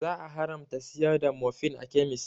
Za a haramta siyar da morfin a kemis